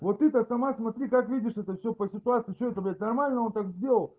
вот это сама смотри как видишь это все по ситуации что это блять нормально он так сделал